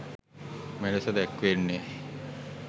මෙලෙස දැක්වෙන්නේ